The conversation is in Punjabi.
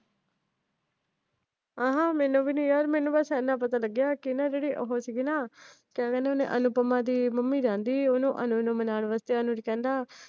ਮੈਨੂੰ ਵੀ ਨਾ ਯਾਰ ਮੈਨੂੰ ਬੱਸ ਇਹਨਾਂ ਪਤਾ ਲੱਗਿਆ ਕਿ ਜਿਹੜੇ ਉਹ ਸੀਗੇ ਨਾ ਕਯਾ ਕਹਿੰਦੇ ਹੋਣੇ ਅਨੂਪਮਾ ਦੀ ਮੰਮੀ ਜਾਂਦੀ ਓਹਨੂੰ ਅਨੁਜ ਨੂੰ ਮਨਾਂਨ ਵਾਸਤੇ ਅਨੁਜ ਕਹਿੰਦਾ